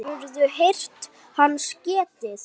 Hefurðu heyrt hans getið?